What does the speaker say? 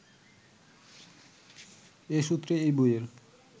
এ সূত্রেই এই বইয়ের